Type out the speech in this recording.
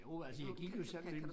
Jo altså jeg gik jo sammen med en